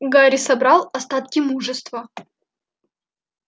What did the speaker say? гарри собрал остатки мужества